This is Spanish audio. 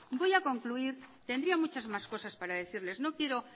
voy a concluir tendría muchas más cosas para decirles no quiero